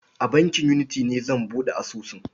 A bankin Unity ne zan buɗe asusun.